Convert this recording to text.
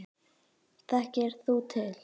Þekkir þú til?